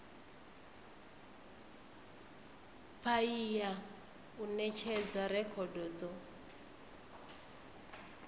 paia u netshedza rekhodo dzo